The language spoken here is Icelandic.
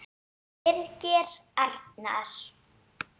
Birgir Arnar.